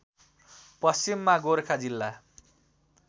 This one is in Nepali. पश्चिममा गोरखा जिल्ला